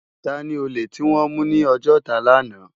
Tàni ólé tiwòn mú ni Ojota làná?